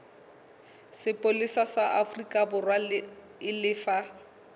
sepolesa sa aforikaborwa e lefe